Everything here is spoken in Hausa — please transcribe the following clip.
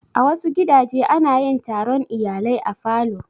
A wasu gidaje ana yin taron iyalai a falo.